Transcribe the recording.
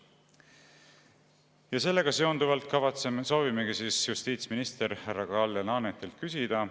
Ja sellega seonduvalt soovimegi justiitsminister härra Kalle Laanetilt küsida.